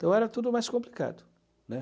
Então era tudo mais complicado, né?